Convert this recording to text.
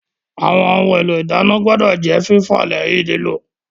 Àwọn ohun èlò ìdáná gbọ́dọ̀ jẹ́ fífọ̀ lẹ́yìn lílò